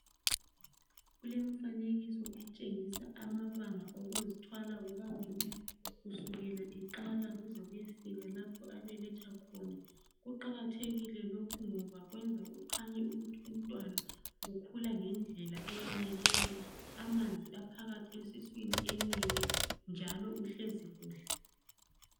Kulemfanekiso etshengisa amabanga okuzthwala kukamama kusukela eqala kuzekuyefika lapho abeletha khona, kuqakathekile lokhu ngoba kwenza kukhanye ukuthi umntwana ukhula ngendlela eyaneleyo, amanzi aphakathi esiswini enele njalo uhlezi kuhle.